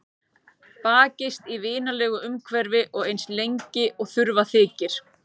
Bakist í vinalegu umhverfi og eins lengi og þurfa þykir.